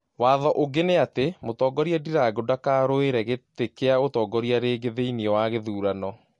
Watho ũngĩ nĩ atĩ mũtongoria Ndirango dakaruirrĩ gĩtĩ kĩa ũtongoria rĩngĩ thĩine wa githurano